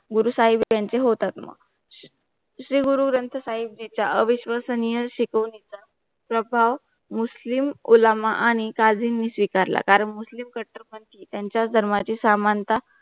गुरु साहेब त्यांचे होतात मग श्री गुरु ग्रंथ साहिब तिचा अविश्वसनिय शिकवणीचा प्रभाव मुस्लिम उल्लामा आणि काझीम नी स्वीकारला कारण मुस्लिम कट्टरपंथी यांची धर्माची सामानता